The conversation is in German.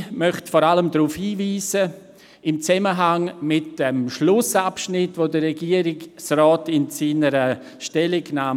Ich möchte vor allem den Schlussabschnitt der Zusammenstellung des Regierungsrats hervorheben.